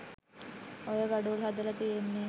ඔය ගඩොල් හදල තියෙන්නේ